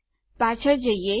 ચાલો પાછળ જઈએ